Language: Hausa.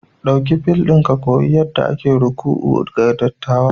Ɗauki fil ɗin ka koyi yadda ake ruku'u ga dattawa